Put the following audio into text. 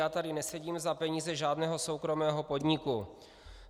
Já tady nesedím za peníze žádného soukromého podniku.